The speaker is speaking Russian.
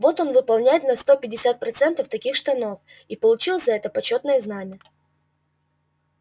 вот он выполняет на сто пятьдесят процентов таких штанов и получил за это почётное знамя